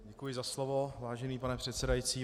Děkuji za slovo, vážený pane předsedající.